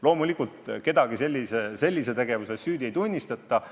Loomulikult kedagi sellise tegevuse eest süüdi ei tunnistata.